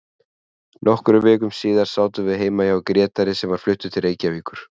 Nokkrum vikum síðar sátum við heima hjá Grétari sem var fluttur til Reykjavíkur.